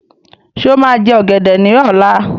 Ṣé́ ó máa jẹ ọgẹdẹ ní ọ̀la?